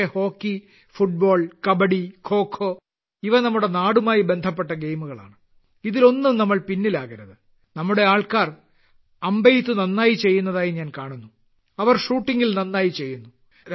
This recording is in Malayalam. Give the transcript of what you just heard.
പക്ഷേ ഹോക്കി ഫുട്ബോൾ കബഡി ഖോഖോ ഇവ നമ്മുടെ നാടുമായി ബന്ധപ്പെട്ട ഗെയിമുകളാണ് ഇതിലൊന്നും നമ്മൾ പിന്നിലാകരുത് നമ്മുടെ ആളുകൾ അമ്പെയ്ത്ത് നന്നായി ചെയ്യുന്നതായി ഞാൻ കാണുന്നു അവർ ഷൂട്ടിംഗിൽ നന്നായി ചെയ്യുന്നു